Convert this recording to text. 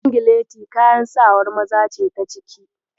Singileti kayan sawar maza ce ta ciki.